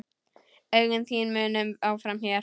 Augun þín munum áfram hér.